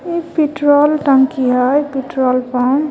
उ पेट्रोल टंकी है पेट्रोलपंप .